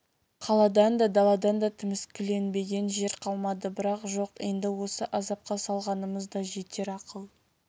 қаладан да даладан да тіміскіленбеген жер қалмады бірақ жоқ енді осы азапқа салғанымыз да жетер ақыл